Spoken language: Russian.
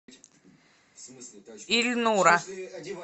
ильнура